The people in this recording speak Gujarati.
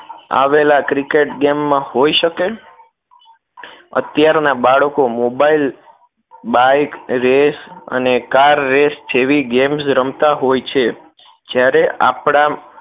આવેલા cricketgame માં હોય શકે અત્યાર ના બાળકો મોબાઈલ bike race અને car race જેવી game રમતા હોય છે જ્યારે આપણા